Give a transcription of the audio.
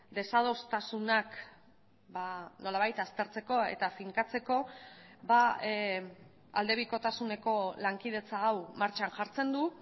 desadostasunak nolabait aztertzeko eta finkatzeko aldebikotasuneko lankidetza hau martxan jartzen du